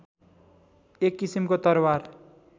एक किसिमको तरवार